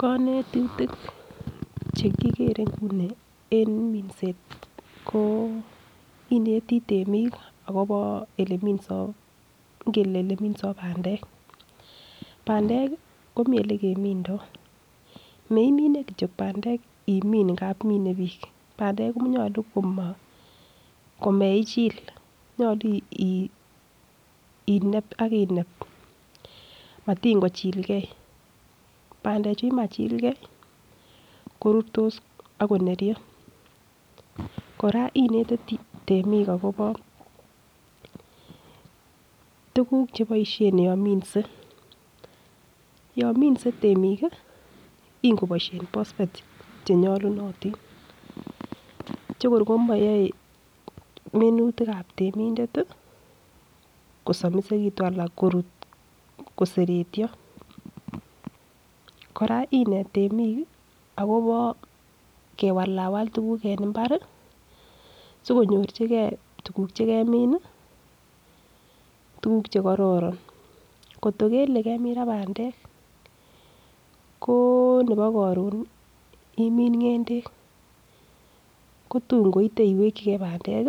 Konetutik che kigere nguni en minset ko ineti temik agobo ele minso bandek, bandek komi ele kemindo meimine kityo bandek imin ngamun mine biik, bandek konyolu komeichil nyolu ineb ak ineb, bandechu yemachil ke korurtos ak koneryo, kora inete temik agobo tuguk cheboisien yon minse. Yon minse temik ingoboisien bosbet che nyolunotin che kor komayae minutik ab temindet kosomisegitun ana korut koseretyo, kora inet temik agobo kiwalawal tuguk en mbar sikonyorjige tuguk che kemin tuguk che kororon. Kot ko kele kemin ra bandek ko nebo koron imin ng'endek kotun koite iwekige bandek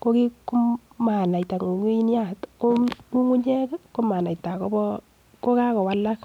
ko manaita ng'ung'unyat, ng'ung'unyek komanaita, kokagowalak